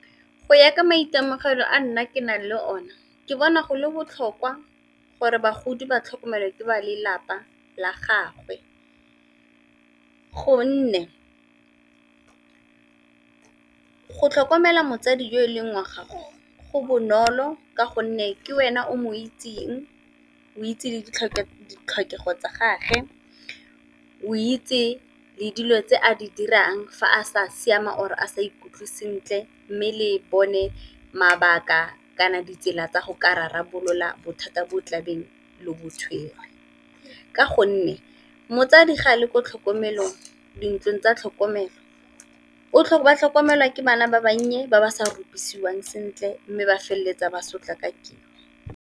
Go ya ka maitemogelo a nna ke nang le o ne ke bona go le botlhokwa gore bagodi ba tlhokomelwa ke ba lelapa la gagwe, gonne go tlhokomela motsadi yo e leng gago go bonolo ka gonne ke wena o mo itseng o itse ditlhokego tsa gage, o itse le dilo tse a di dirang fa a sa siama or a sa ikutlwe sentle, mme le bone mabaka kana ditsela tsa go ka rarabolola bothata bo tlabeng lo bo tshwere, ka gonne motsadi ga a le ko tlhokomelong dintlong tsa tlhokomelo ba tlhokomelwa ke bana ba bannye ba ba sa rupisiwang sentle mme ba feleletsa ba sotlakakilweng.